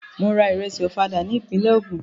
Mò ra ìrẹṣì Ọ̀fadà ní ìpínlẹ̀ Ogun.